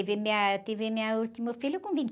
Eu tive minha, eu tive meu último filho com vinte...